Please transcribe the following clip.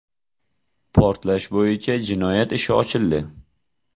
Portlash bo‘yicha jinoyat ishi ochildi .